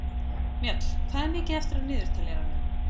Mjöll, hvað er mikið eftir af niðurteljaranum?